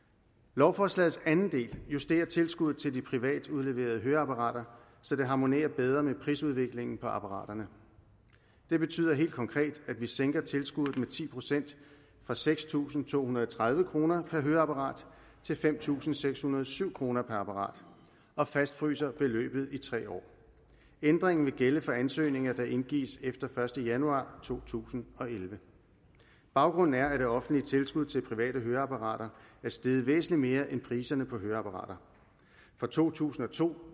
lovforslagets anden del justerer tilskuddet til de privat udleverede høreapparater så det harmonerer bedre med prisudviklingen på apparaterne det betyder helt konkret at vi sænker tilskuddet med ti procent fra seks tusind to hundrede og tredive kroner per høreapparat til fem tusind seks hundrede og syv kroner per apparat og fastfryser beløbet i tre år ændringen vil gælde for ansøgninger der indgives efter den første januar to tusind og elleve baggrunden er at det offentlige tilskud til private høreapparater er steget væsentlig mere end priserne på høreapparater fra to tusind og to